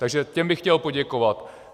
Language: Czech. Takže těm bych chtěl poděkovat.